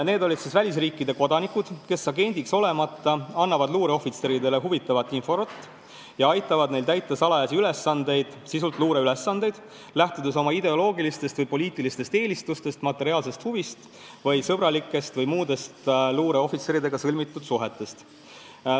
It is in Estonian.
Jutt on välisriikide kodanikest, kes agendiks olemata annavad luureohvitseridele huvitavat infot ja aitavad neil täita salajasi ülesandeid, sisult luureülesandeid, lähtudes oma ideoloogilistest või poliitilistest eelistustest, materiaalsest huvist või luureohvitseridega sõlmitud sõbra- või muudest isiklikest suhetest.